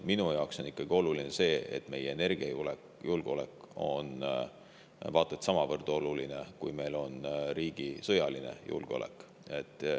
Minu jaoks on energiajulgeolek vaat et samavõrd oluline kui meie riigi sõjaline julgeolek.